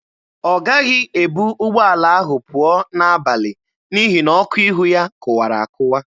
Ọ gaghị ebu ụgbọala ahụ pụọ n'abalị n'ihi na ọkụ ihu ya kụwara akụwa.